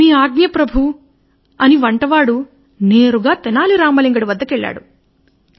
మీ ఆజ్ఞ ప్రభు అని వంటవాడు నేరుగా తెనాలి రామలింగడి వద్దకు వెళ్ళాడు